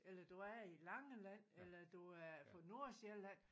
Eller du er i Langeland eller du er på Nordsjælland